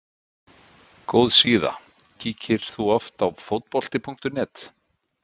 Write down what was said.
Góð síða Kíkir þú oft á Fótbolti.net?